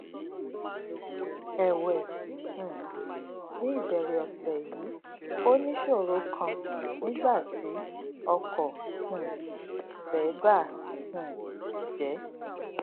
èwè um ní ìbèrè òsè yìí ó níṣòro kan nígbà tí ọkò um rè bà um jé